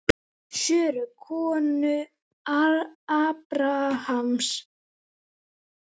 Söru, konu Abrahams.